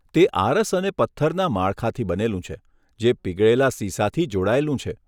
તે આરસ અને પથ્થરના માળખાથી બનેલું છે, જે પીગળેલા શીશાથી જોડાયેલું છે.